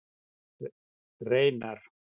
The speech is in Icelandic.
Reynar